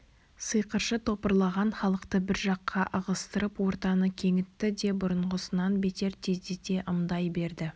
сиқыршы топырлаған халықты бір жаққа ығыстырып ортаны кеңітті де бұрынғысынан бетер тездете ымдай берді